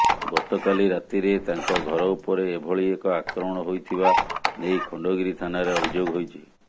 ଗତକାଲି ରାତିରେ ତାଙ୍କ ଘର ଉପରେ ଏଭଳି ଏକ ଆକ୍ରମଣ ହୋଇଥିବା ନେଇ ଖଣ୍ଡଗିରି ଥାନାରେ ଅଭିଯୋଗ ହୋଇଛି